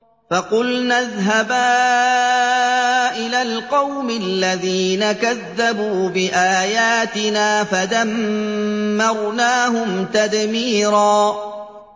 فَقُلْنَا اذْهَبَا إِلَى الْقَوْمِ الَّذِينَ كَذَّبُوا بِآيَاتِنَا فَدَمَّرْنَاهُمْ تَدْمِيرًا